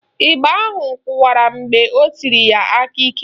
Ịgba ahụ kụwara mgbe o tisiri ya aka ike